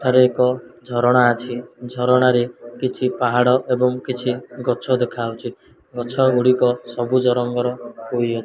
ଏଠାରେ ଏକ ଝରଣା ଅଛି ଝରଣାରେ କିଛି ପାହାଡ଼ ଏବଂ କିଛି ଗଛ ଦେଖାହୋଉଛି ଗଛ ଗୁଡ଼ିକ ସବୁଜ ରଙ୍ଗର ହୋଇ --